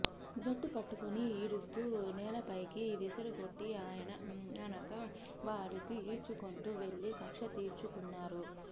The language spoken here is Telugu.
జట్టు పట్టుకుని ఈడుస్తూ నేలపైకి విసిరికొట్టి ఆనక వారిని ఈడ్చుకుంటూ వెళ్లి కక్ష తీర్చుకు న్నారు